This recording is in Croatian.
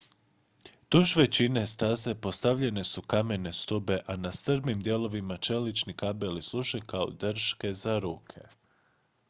duž većine staze postavljene su kamene stube a na strmijim dijelovima čelični kabeli služe kao drške za ruke